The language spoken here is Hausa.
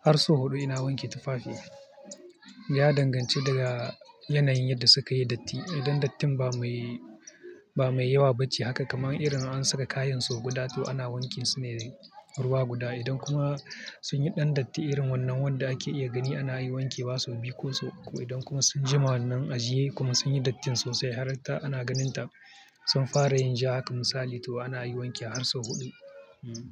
har sau huɗu ina wanke tufafi. Ya danganci daga yanayin da su kayi datti. Idan dattin ba mai, ba mai yawa ba ce haka kamar irin an saka kayansu guda, to ana wanke su ne ruwa guda. Idan kuma sun yi ɗan datti irin wannan wanda ake iya gani, ana yi wanke ba su biyu ko sau uku. Idan kuma sun jima wannan ajiye kuma sun yi dattin sosai har ana ganin ta sun fara yin ja haka misali, to ana yi wanke har su huɗu. Hmm.